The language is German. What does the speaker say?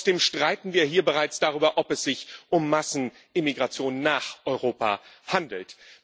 Und trotzdem streiten wir hier bereits darüber, ob es sich um Massenimmigration nach Europa handelt.